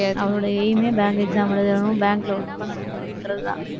அவளோட aim a bank exam எழுதணும், bank ல work பண்ணணும் அப்படின்றதுதான்